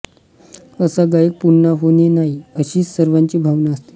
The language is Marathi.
असा गायक पुन्हा होणे नाही अशीच सर्वांची भावना असते